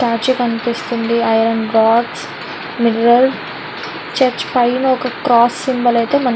Statue కనిపిస్తుంది .iron box mineral . Church పైన ఐతే ఒక క్రాస్ సింబల్ ఐతే మనకి --